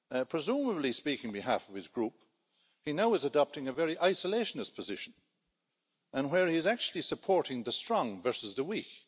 Presumably speaking on behalf of his group, he now is adopting a very isolationist position, where he is actually supporting the strong versus the weak.